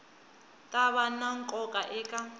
ta va na nkoka eka